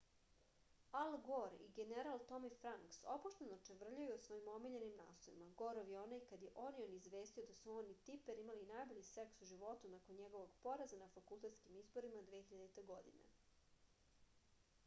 al gor i general tomi franks opušteno čavrljaju o svojim omiljenim naslovima gorov je onaj kad je onion izvestio da su on i tiper imali najbolji seks u životu nakon njegovog poraza na fakultetskim izborima 2000. godine